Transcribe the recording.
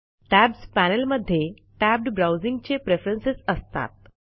tabs panel मध्ये tabbed browsing चे preference असतात